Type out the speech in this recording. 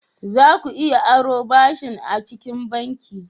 Za ku iya aro ɓashi acikin banki.